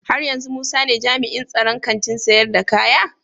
Haryanzu musa ne jami'in tsaron Kantin sayar da kaya?